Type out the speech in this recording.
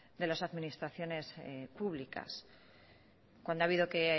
de las administraciones públicas cuando ha habido que